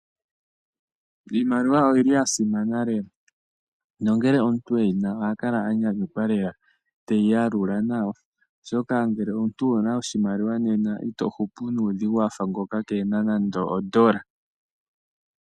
Iimaliwa oyi li ya simana lela. Nongele omuntu e yi na oha kala a nyanyukwa lela teyi yalula nawa. Oshoka ngele omuntu owu na sha oshimaliwa nena i to hupu nuudhigu wafa ngoka keena nando ondola.